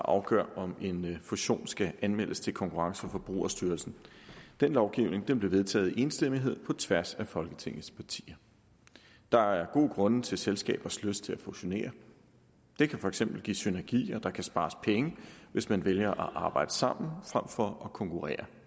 afgør om en fusion skal anmeldes til konkurrence og forbrugerstyrelsen den lovgivning blev vedtaget i enstemmighed på tværs af folketingets partier der er gode grunde til selskabers lyst til at fusionere det kan for eksempel give synergier og der kan spares penge hvis man vælger at arbejde sammen frem for at konkurrere